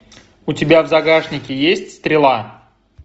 у тебя в загашнике есть стрела